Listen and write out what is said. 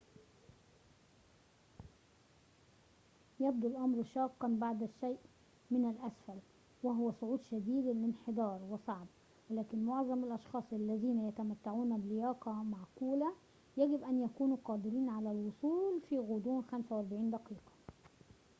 يبدو الأمر شاقاً بعض الشيء من الأسفل وهو صعود شديد الانحدار وصعب ولكن معظم الأشخاص الذين يتمتعون بلياقة معقولة يجب أن يكونوا قادرين على الوصول في غضون 45 دقيقة